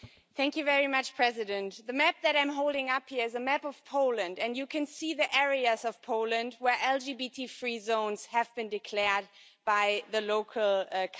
Madam President, the map that I'm holding up here is a map of Poland, and you can see the areas of Poland where LGBT free zones have been declared by the local councils.